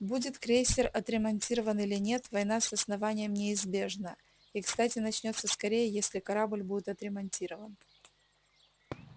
будет крейсер отремонтирован или нет война с основанием неизбежна и кстати начнётся скорее если корабль будет отремонтирован